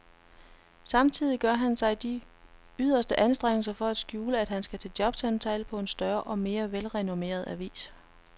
Samtidig gør han sig de yderste anstrengelser for at skjule, at han skal til jobsamtale på en større og mere velrenommeret avis.